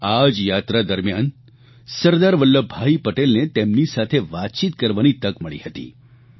અને આ જ યાત્રા દરમિયાન સરદાર વલ્લભભાઇ પટેલને તેમની સાથે વાતચીત કરવાની તક મળી હતી